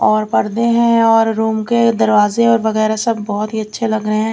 और पर्दे हैं और रूम के दरवाजे और वगैरा सब बहोत ही अच्छे लग रहे--